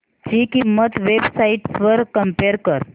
ची किंमत websites वर कम्पेअर कर